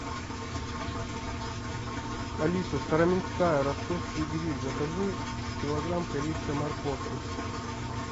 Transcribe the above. алиса староминская ростовский гриль закажи килограмм корейской морковки